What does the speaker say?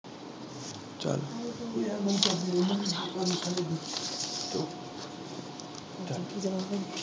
ਚੱਲ ਕਿਉਂ ਚੱਲ